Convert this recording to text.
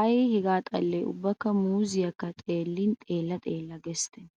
Ay hegaa xallee ubba muuzzeekka xeellin xeella xeella giissennee?